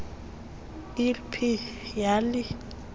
l p yali